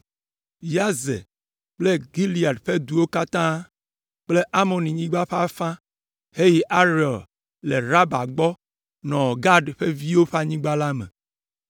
Yazer kple Gilead ƒe duwo katã kple Amonyigba ƒe afã heyi Aroer le Raba gbɔ nɔ Gad ƒe viwo ƒe anyigba la me.